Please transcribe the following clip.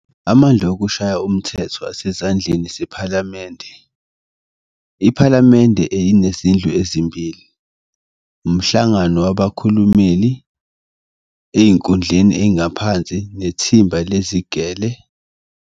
Amandla okushaya umthetho asezandleni zePhalamende. Iphalamende inezindlu ezimbili - umHlangano wabaKhulumeli ekuyindlu engaphansi, neThimba leziGele.